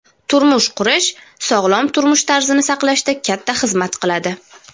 turmush qurish sog‘lom turmush tarzini saqlashda katta xizmat qiladi.